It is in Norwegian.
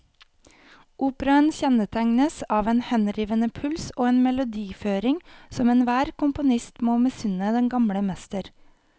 Operaen kjennetegnes av en henrivende puls og en melodiføring som enhver komponist må misunne den gamle mester.